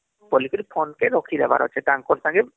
ବୋଲି କି phone କେ ରଖି ଦେବାର ଅଛି ତାଙ୍କର ସାଙ୍ଗେ